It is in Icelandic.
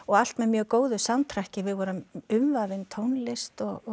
allt með mjög góðu við vorum umvafin tónlist og